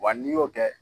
Wa n'i y'o kɛ